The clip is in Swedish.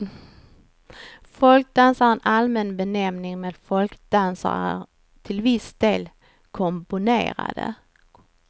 Folkdans är en allmän benämning, men folkdanser är till viss del komponerade.